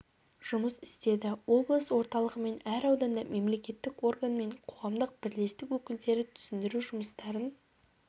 жұмыс істеді облыс орталығы мен әр ауданда мемлекеттік орган мен қоғамдық бірлестік өкілдері түсіндіру жұмыстарын